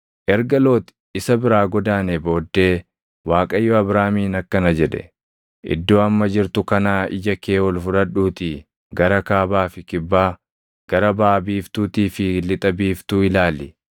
Erga Loox isa biraa godaanee booddee Waaqayyo Abraamiin akkana jedhe; “Iddoo amma jirtu kanaa ija kee ol fudhadhuutii gara kaabaa fi kibbaa, gara baʼa biiftuutii fi lixa biiftuu ilaali.